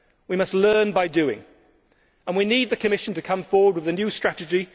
We must learn by doing, and we need the Commission to come forward with a new strategy.